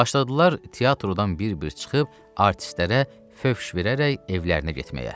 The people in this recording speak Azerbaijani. Başladılar teatrodan bir-bir çıxıb artistlərə fövş verərək evlərinə getməyə.